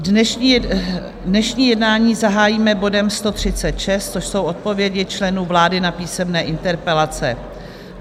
Dnešní jednání zahájíme bodem 136, což jsou odpovědi členů vlády na písemné interpelace.